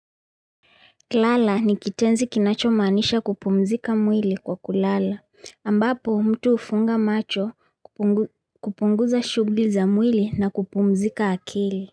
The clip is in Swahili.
K lala nikitenzi kinacho manisha kupumzika mwili kwa kulala, ambapo mtu hufunga macho kupunguza shugli za mwili na kupumzika akili.